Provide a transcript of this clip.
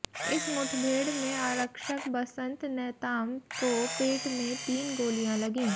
इस मुठभेड़ में आरक्षक बसंत नेताम को पेट में तीन गोलियां लगीं